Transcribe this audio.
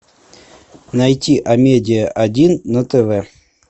найти амедиа один на тв